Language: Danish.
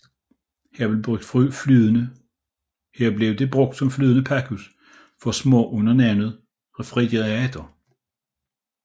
Her blev det brugt som flydende pakhus for smør under navnet Refrigerator